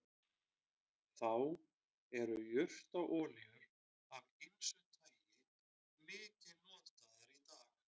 þá eru jurtaolíur af ýmsu tagi mikið notaðar í dag